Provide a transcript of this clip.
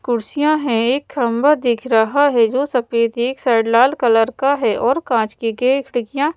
कुर्सियां हैं एक खंबा दिख रहा है जो सफेद एक साइड लाल कलर का है और कांच के खिड़कियां--